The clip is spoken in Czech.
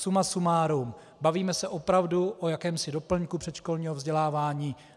Suma sumárum, bavíme se opravdu o jakémsi doplňku předškolního vzdělávání.